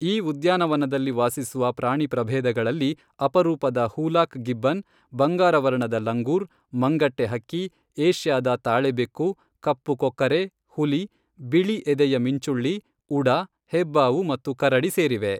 ಈ ಉದ್ಯಾನವನದಲ್ಲಿ ವಾಸಿಸುವ ಪ್ರಾಣಿಪ್ರಭೇದಗಳಲ್ಲಿ ಅಪರೂಪದ ಹೂಲಾಕ್ ಗಿಬ್ಬನ್, ಬಂಗಾರವರ್ಣದ ಲಂಗೂರ್, ಮಂಗಟ್ಟೆ ಹಕ್ಕಿ, ಏಷ್ಯಾದ ತಾಳೆ ಬೆಕ್ಕು, ಕಪ್ಪು ಕೊಕ್ಕರೆ, ಹುಲಿ, ಬಿಳಿ ಎದೆಯ ಮಿಂಚುಳ್ಳಿ, ಉಡ, ಹೆಬ್ಬಾವು ಮತ್ತು ಕರಡಿ ಸೇರಿವೆ.